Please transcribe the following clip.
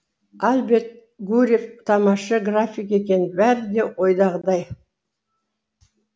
альберт гурьев тамаша график екен бәрі де ойдағыдай